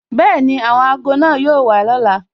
Bẹẹni, àwọn ago náà yóò wà lọ́la